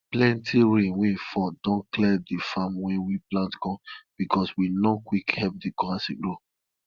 plenti rain wey fall don clear the farm wey we plant corn bcos we no quick help the corn as e grow